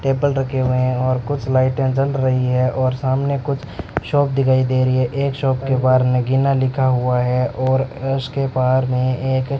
table रखे हुए हैं और कुछ लाइटें जल रही हैं और सामने कुछ शॉप दिखाई दे रही है एक शॉप के बाहर नगिना लिखा हुआ है और अ उसके बाहर में एक --